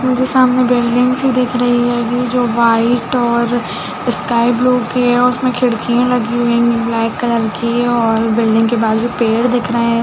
मुझे सामने बिल्डिंग्स ही दिख रही है जो वाइट और स्काई ब्लू की है और उसमे खिड़कियाँ लगी हुई है ब्लैक कलर की और बिल्डिंग के बाहर पेड़ दिख रहे है।